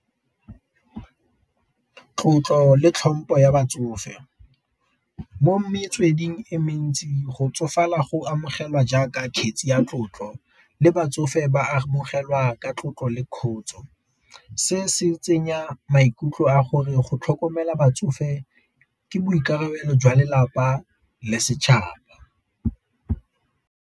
Tlotlo le tlhompho ya batsofe, mo metsweding e mentsi go tsofala go amogelwa jaaka kgetse ya tlotlo le batsofe ba tlogelwa ka tlotlo le kgotso. Se se tsenya maikutlo a gore go tlhokomela batsofe ke boikarabelo jwa lelapa le setšhaba.